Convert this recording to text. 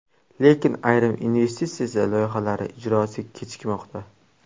Lekin ayrim investitsiya loyihalari ijrosi kechikmoqda.